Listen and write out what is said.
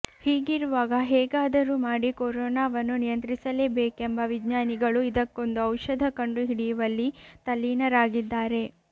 ಹೀಗಿರುವಾಗ ಹೇಗಾದರೂ ಮಾಡಿ ಕೊರೋನಾವನ್ನು ನಿಯಂತ್ರಿಸಲೇಬೆಕೆಂಬ ವಿಜ್ಞಾನಿಗಳು ಇದಕ್ಕೊಂದು ಔಷಧ ಕಂಡು ಹಿಡಿಯುವಲ್ಲಿ ತಲ್ಲೀನರಾಗಿದ್ದಾರೆ